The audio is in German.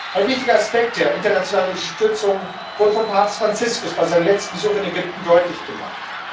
Ein wichtiger Aspekt der internationalen Unterstützung wurde von Papst Franziskus bei seinem letzten Besuch in Ägypten deutlich gemacht.